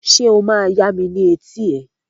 Ṣé o máa yami ni eti ẹ?